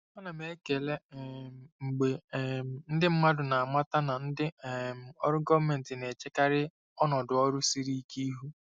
Ana m ekele um mgbe um ndị mmadụ na-amata na ndị um ọrụ gọọmentị na-echekarị ọnọdụ ọrụ siri ike ihu.